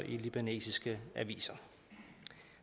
i libanesiske aviser